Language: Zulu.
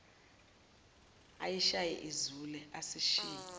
ayishaye izule asishiye